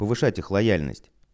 повышать их лояльность